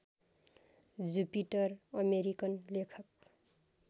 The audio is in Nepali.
जुपिटर अमेरिकन लेखक